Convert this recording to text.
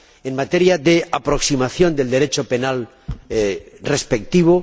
en materia de aproximación del Derecho penal respectivo.